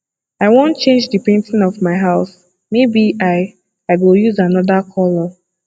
i wan change the painting of my house maybe i i go use another colour